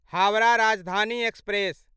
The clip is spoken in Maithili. हावड़ा राजधानी एक्सप्रेस